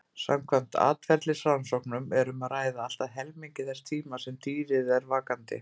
Samkvæmt atferlisrannsóknum er um að ræða allt að helmingi þess tíma sem dýrið er vakandi.